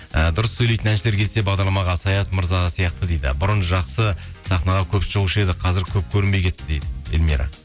ііі дұрыс сөйлейтін әншілер келсе бағдарламаға саят мырза сияқты дейді бұрын жақсы сахнаға көп шығушы еді қазір көп көрінбей кетті дейді эльмира